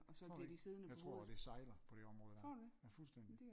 Tror det ikke jeg tror det sejler på det område der ja fuldstændig